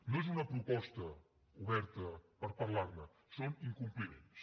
no és una proposta oberta per parlar ne són incompliments